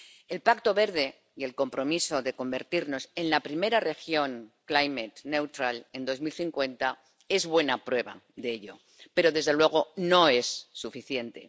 El Pacto Verde y el compromiso de convertirnos en la primera región en 2050 es buena prueba de ello, pero desde luego no es suficiente.